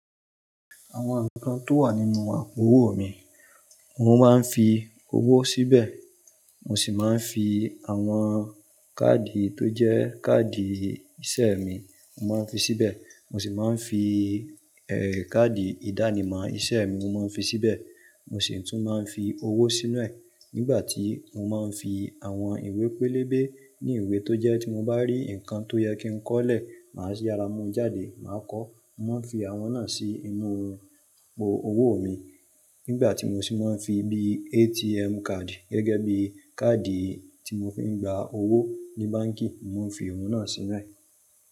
Àwọn ǹkan tó wà nínú àpò owó mi, mo máa ń fi owó síbẹ̀, mo sì máa ń fi àwọn káàdì tó jẹ́ káàdì ìṣe mi, mo máa ń fi síbẹ̀. Mo sì máa ń fi, káàdì ìdánimọ̀ iṣẹ́ mi mo máa ń fi síbẹ̀. Mo sì tún máa ń fi owó sínú ẹ̀ nígbà tí mo máa ń fi àwọn ìwé pélébé ní ìwé tó jẹ́ tí mo bá rí ǹkan tó yẹ kí n kọ́ lẹ̀, màá yára mú jáde, màá kọ. Mo máa ń fi àwọn náà sí inú àpò owó mi. Nígbà tí mo sì máa ń fi bí ATM card gẹ́gẹ́ bí káàdì tí mo fi ń gba owó ní báǹkì, mo ń fi òun náà sínú ẹ̀.